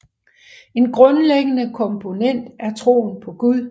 En grundlæggende komponent er troen på Gud